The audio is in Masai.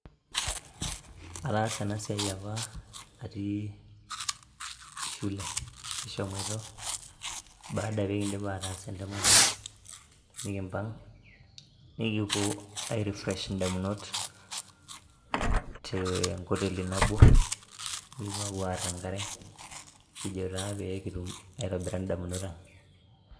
Ataasa ena siai apa atii shule. Kishomoito pee kiindip aataas entemata, nekiimpang' nekipuo aai...[refresh] indamunot tenkoteli nabo, nekipuo aapuo aar enkare, kijo taa pee kitum aaitobira indamunot ang'